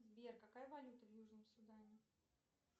сбер какая валюта в южном судане